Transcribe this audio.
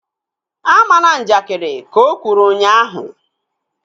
A mana njakiri! Ka o kwuru ụnyaahụ